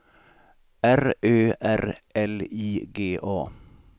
R Ö R L I G A